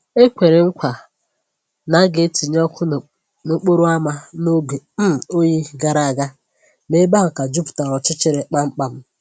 E kwèrè mkwa na a ga‑etinye ọkụ n’ókporo ámá n’oge um oyi gara aga, ma ebe ahụ ka jupụtara ọchịchịrị kpamkpam